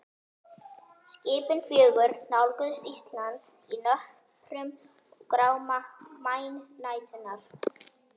Skipin fjögur nálguðust Ísland í nöprum gráma maínæturinnar.